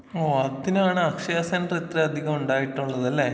ആ അതിനാണ് അക്ഷയ സെന്റർ ഇത്രയധികം ഉണ്ടായിട്ടുള്ളത്ലെ.